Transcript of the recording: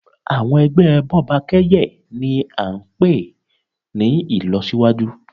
Àwọn ẹgbẹ́ Bọ́bakẹ́yẹ̀ ni a ń pè ní ìlọsíwájú.